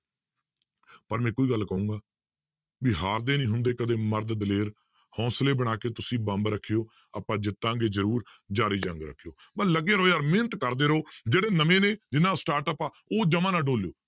ਪਰ ਮੈਂ ਇੱਕੋ ਹੀ ਗੱਲ ਕਹਾਂਗਾ ਵੀ ਹਾਰਦੇ ਨੀ ਹੁੰਦੇ ਕਦੇ ਮਰਦ ਦਲੇਰ ਹੌਂਸਲੇ ਬਣਾ ਕੇ ਤੁਸੀਂ ਬੰਬ ਰੱਖਿਓ ਆਪਾਂ ਜਿੱਤਾਂਗੇ ਜ਼ਰੂਰ ਜ਼ਾਰੀ ਜੰਗ ਰੱਖਿਓ, ਬਸ ਲੱਗੇ ਰਹੋ ਯਾਰ ਮਿਹਨਤ ਕਰਦੇ ਰਹੋ ਜਿਹੜੇ ਨਵੇਂ ਨੇ ਜਿਹਨਾਂ ਦਾ startup ਆ ਉਹ ਜਮਾ ਨਾ ਡੋਲਿਓ